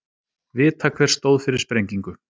Vita hver stóð fyrir sprengingu